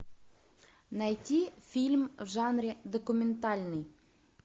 найти фильм в жанре документальный